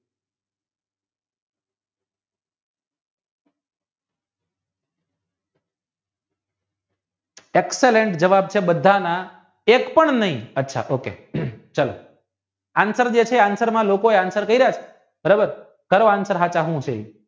excellent જવાબ છે બધાના એક પણ નાય અથવા તો કે answer જે છે તે answer માં બરાબર કરો answer સાચા સુ છે એ